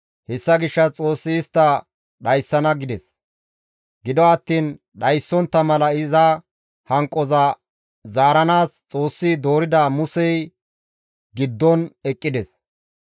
Hessa gishshas Xoossi istta dhayssana gides; gido attiin dhayssontta mala iza hanqoza zaaranaas Xoossi doorida Musey giddon eqqides.